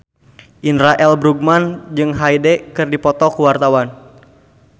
Indra L. Bruggman jeung Hyde keur dipoto ku wartawan